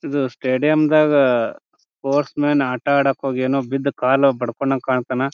ಇದು ಸ್ಟೇಡಿಯಂ ದಾಗ sportsmen ಆಟ ಹೋಗ್ಯಾನು ಬಿದ್ದು ಕಾಲು ಬಡ್ಕೋಳಂಗೆ ಕಾಣ್ತಾನಾ.